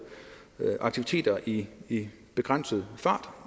aktiviteter i begrænset fart